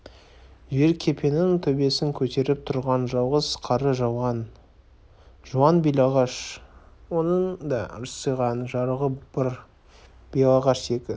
жер кепенің төбесін көтеріп тұрған жалғыз қары жуан белағаш оның да ырсиған жарығы бар белағашқа екі